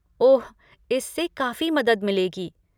ओह, इससे काफ़ी मदद मिलेगी।